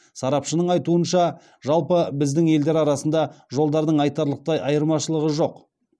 сарапшының айтуынша жалпы біздің елдер арасында жолдардың айтарлықтай айырмашылығы жоқ